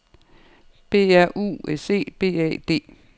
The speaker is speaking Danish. B R U S E B A D